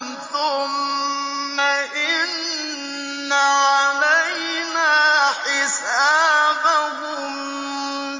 ثُمَّ إِنَّ عَلَيْنَا حِسَابَهُم